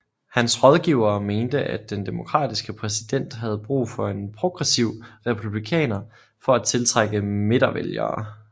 Hans rådgivere mente at den Demokratiske præsident havde brug for en progressiv Republikaner for at tiltrække midtervælgere